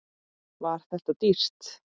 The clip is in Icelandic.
Var þetta dýrt?